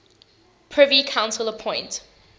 privy council appoint